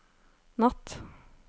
natt